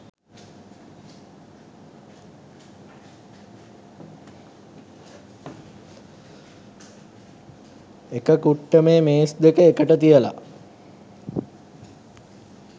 එක කුට්ටමේ මේස් දෙක එකට තියලා